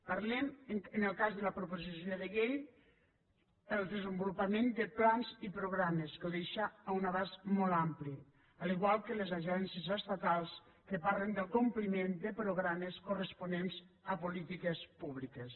parlem en el cas de la proposició de llei del desenvolupament de plans i programes que hi deixa un abast molt ampli igual que les agències estatals que parlen del compliment de programes corresponents a polítiques públiques